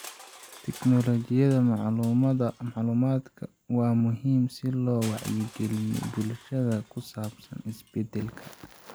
Tiknoolajiyadda macluumaadka waa muhiim si loo wacyigeliyo bulshada ku saabsan isbedelka.